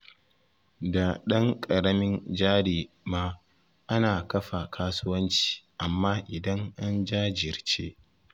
Da ɗan ƙaramin jari ma ana kafa kasuwanci amma idan an jajirce